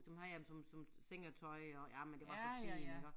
Så havde jeg dem som som sengetøj og jamen det var så fint iggå